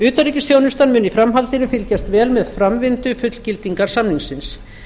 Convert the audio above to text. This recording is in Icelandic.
utanríkisþjónustan mun í framhaldinu fylgjast vel með framvindu fullgildingar samningsins